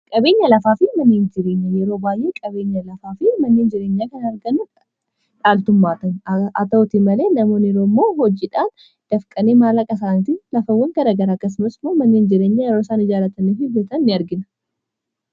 qabeenya lafaa fi manniin jireenya yeroo baay'ee qabeenya lafaa fi manniin jireenyaa kan arganu dhaaltummaatan ata'uti malee namooniroo immoo hojidhaan dafqanee maallaqa isaanatii lafawwan garagara akkasnoosmoo manniiin jireenyaa yeroo isaan ijaalataniif hibbatan in argina